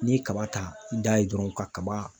N'i ye kaba ta i da ye dɔrɔn kaba